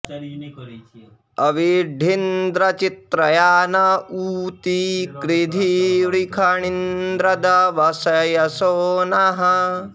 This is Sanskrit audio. अ॒वि॒ड्ढी॑न्द्र चि॒त्रया॑ न ऊ॒ती कृ॒धि वृ॑षन्निन्द्र॒ वस्य॑सो नः